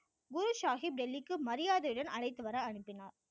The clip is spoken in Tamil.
குரு சாகிப் டெல்லிக்கு மரியாதையுடன் அழைத்து வர அனுப்பினார்